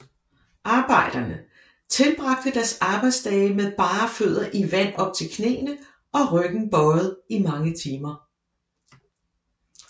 Arbejderne tilbragte deres arbejdsdage med bare fødder i vand op til knæene og ryggen bøjet i mange timer